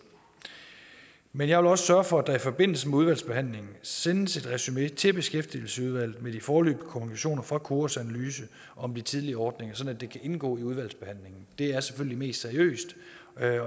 men jeg vil også sørge for at der i forbindelse med udvalgsbehandlingen sendes et resumé til beskæftigelsesudvalget med de foreløbige konklusioner fra koras analyse om de tidligere ordninger sådan at det kan indgå i udvalgsbehandlingen det er selvfølgelig mest seriøst